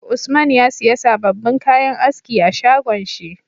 Usman ya siya sababin kayan aski a shagon shi